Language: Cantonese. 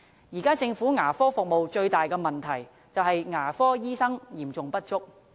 現時，政府牙科服務最大的問題是牙科醫生嚴重不足。